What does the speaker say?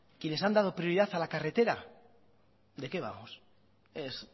quienes han dado prioridad a la carretera de qué vamos ez